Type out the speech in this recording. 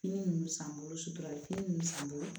Fini nunnu san bolo sutura ye fini nunnu san n bolo